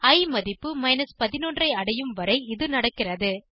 இ மதிப்பு 11 ஐ அடையும் வரை இது நடக்கிறது